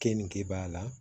Keningebaa la